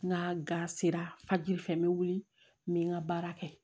N ka ga sera fajiri fɛ n be wuli n bɛ n ka baara kɛ